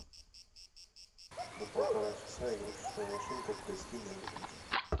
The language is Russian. на полтора часа игрушечная машинка в гостиной выключить